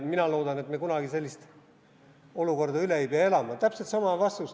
Mina loodan, et me ei pea kunagi sellist olukorda üle elama.